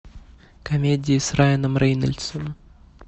комедии с райаном рейнольдсом